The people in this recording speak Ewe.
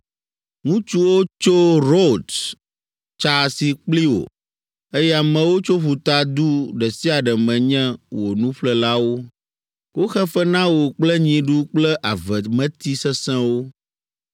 “Ŋutsuwo tso Rods tsa asi kpli wò, eye amewo tso ƒuta du ɖe sia ɖe me nye wò nuƒlelawo. Woxe fe na wò kple nyiɖu kple avemeti sesẽwo.